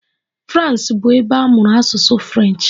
Frans bụ ebe a mụrụ asụsụ French.